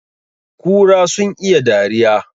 Kura sun iya dariya